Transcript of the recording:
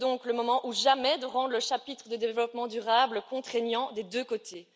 C'est donc le moment ou jamais de rendre le chapitre du développement durable contraignant des deux côtés.